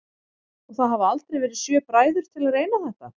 Og það hafa aldrei verið sjö bræður til að reyna þetta?